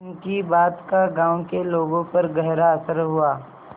उनकी बात का गांव के लोगों पर गहरा असर हुआ